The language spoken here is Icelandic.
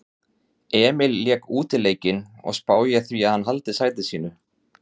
Emil lék útileikinn og spái ég því að hann haldi sæti sínu.